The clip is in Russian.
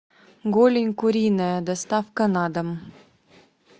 голень куриная доставка на дом